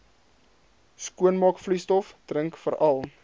skoonmaakvloeistof drink veral